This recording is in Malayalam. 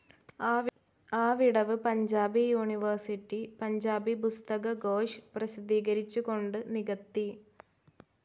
ആ വിടവ് പഞ്ചാബി യൂണിവേഴ്സിറ്റി പഞ്ചാബി പുസ്തക ഘോഷ് പ്രസിദ്ധീകരിച്ചുകൊണ്ട് നികത്തി.